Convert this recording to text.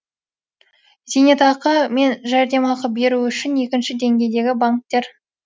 зейнетақы мен жәрдемақы беру үшін екінші деңгейдегі банктер